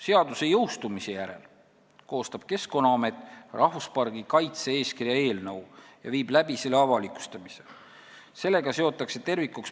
Seaduse jõustumise järel koostab Keskkonnaamet rahvuspargi kaitse-eeskirja eelnõu ja avalikustab selle.